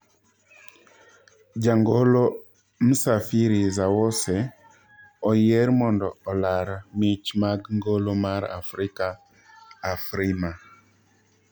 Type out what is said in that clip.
Jangolo Msafiri Zawose oyier mondo olar mich mag ngolo mar Afrika, Afrima.